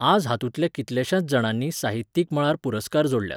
आज हातूंतल्या कितल्याश्यांच जाणांनी साहित्यीक मळार पुरस्कार जोडल्यात.